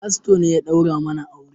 Fasto ne ya daura mana aure